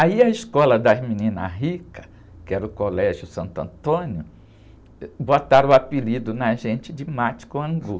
Aí a escola das meninas ricas, que era o Colégio Santo Antônio, ãh, botaram o apelido na gente de mate com angu.